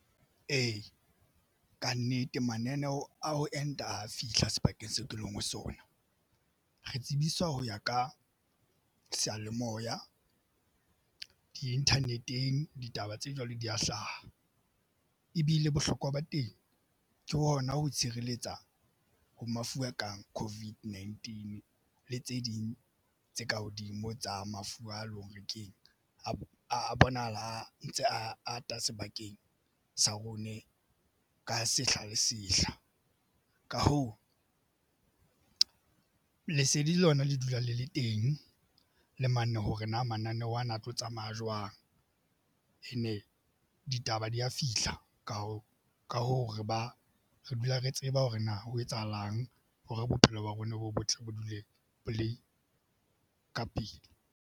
Ee, kannete mananeo a ho enta a fihla sebakeng seo ke leng ho sona. Re tsebiswa ho ya ka seyalemoya di-internet-eng ditaba tse jwalo di ya hlaha ebile bohlokwa ba teng ke hona ho tshireletsa ho mafu a kang COVID-19 le tse ding tse ka hodimo tsa mafura a lo re ke a bona a ntse a ata sebakeng sa rona se ka sehla le sehla. Ka hoo, lesedi lona le dula le le teng le mane hore na mananeho ana a tlo tsamaya jwang and-e ditaba di ya fihla ka ho ka hoo, re ba re dula re tseba hore na ho etsahalang hore bophelo ba rona bo botle ba dule bo le ka pele.